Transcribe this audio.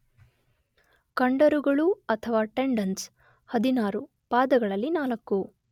ಕಂಡರಗಳು ಅಥವ ಟೆಂಡನ್ಸ್ 16, ಪಾದಗಳಲ್ಲಿ 4